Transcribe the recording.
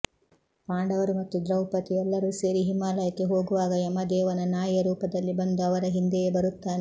ಪಾಂಡವರು ಮತ್ತು ದ್ರೌಪದಿ ಎಲ್ಲರೂ ಸೇರಿ ಹಿಮಾಲಯಕ್ಕೆ ಹೋಗುವಾಗ ಯಮದೇವನ ನಾಯಿಯ ರೂಪದಲ್ಲಿ ಬಂದು ಅವರ ಹಿಂದೆಯೇ ಬರುತ್ತಾನೆ